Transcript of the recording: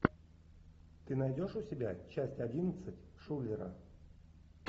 ты найдешь у себя часть одиннадцать шулера